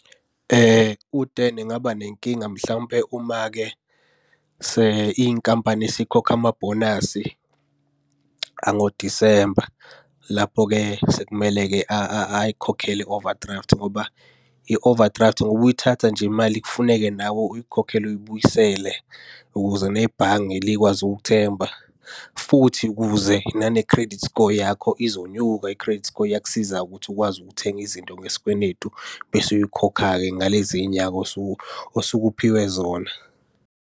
U-Dan engaba nenkinga mhlawumpe uma-ke inkampani isikhokha amabhonasi angoDisemba. Lapho-ke sekumele-ke ayikhokhele i-overdraft ngoba i-overdraft ngoba uyithatha nje imali kufuneka nawe uyikhokhela uyibuyisele ukuze nebhange likwazi ukukuthemba, futhi ukuze nane credit score yakho izonyuka. I-credit score iyakusiza-ke ukuthi ukwazi ukuthenga izinto ngesikwenetu bese uyikhokha-ke ngalezi nyanga osuke osuke uphiwe zona.